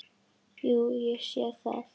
Jú, ég sé það.